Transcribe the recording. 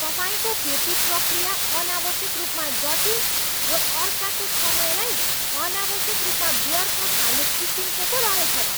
तपाईँको फिर्ती प्रक्रिया अनावश्यक रूपमा जटिल र अर्काको समयलाई अनावश्यक रूपमा व्यर्थ फाल्ने किसिमको पो रहेछ त।